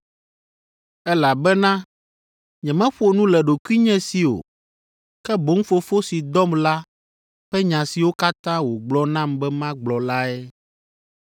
Elabena nyemeƒo nu le ɖokuinye si o, ke boŋ Fofo si dɔm la ƒe nya siwo katã wògblɔ nam be magblɔ lae.